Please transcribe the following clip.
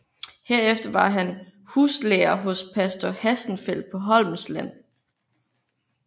Herefter var han huslærer hos pastor Hassenfeldt på Holmsland